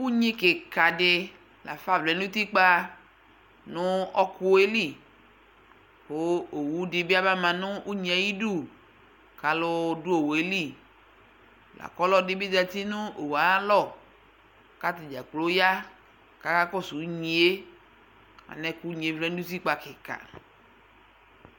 Unyi kika di la fa vlɛ nʋ utikpa nʋ ɔkʋ yɛ li kʋ owu di bi abama nʋ unyi yɛ ayidu kʋ alʋ dʋ owu ɛ li la kʋ ɔlɔdi bi zati nʋ owu yɛ ayalʋ kʋ atadza kplo ya kakakɔsʋ unyi e, anɛ boa kʋ unyi yɛ vlɛ nutikpa kika